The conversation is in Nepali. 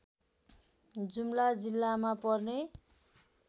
जुम्ला जिल्लामा पर्ने